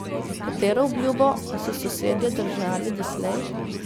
Katero obljubo pa so sosedje držali doslej?